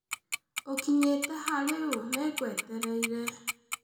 Ukinyite ha riu nĩngwetereire